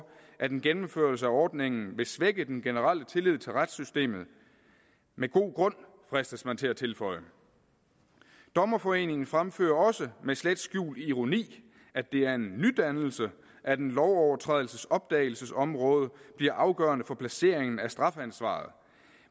at en gennemførelse af ordningen vil svække den generelle tillid til retssystemet med god grund fristes man til at tilføje dommerforeningen fremfører også med slet skjult ironi at det er en nydannelse at en lovovertrædelses opdagelsesområde bliver afgørende for placeringen af strafansvaret